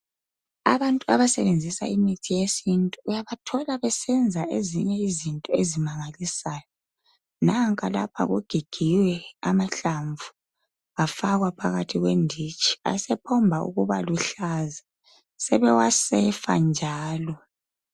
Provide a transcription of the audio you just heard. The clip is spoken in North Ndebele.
Abantu abasebenzisa imithi yesintu uyabathola besenza ezinye izinto ezimangalisayo. Nanka lapha kugigiwe amahlamvu, afakwa phakathi kwenditshi, asephomba ukubaluhlaza. Sebewasefa njalo.